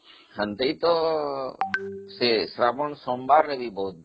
ସେମିତି ତ ସେ ଶ୍ରାବଣ ସୋମବାର ରେ ଯିବ